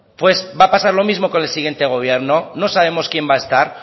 pues va a pasar lo mismo con el siguiente gobierno no sabemos quién va a estar